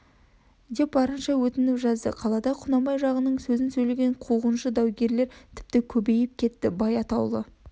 деп барынша өтініп жазды қалада құнанбай жағының сөзін сөйлеген қуғыншы даугерлер тіпті көбейіп кетті бай атаулы